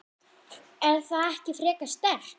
Er það ekki frekar sterkt?